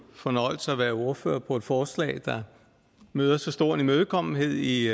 fornøjelse at være ordfører for et forslag der nyder så stor imødekommenhed i